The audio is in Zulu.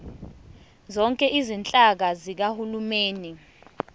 zonke izinhlaka zikahulumeni